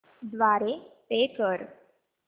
द्वारे पे कर